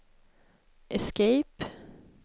escape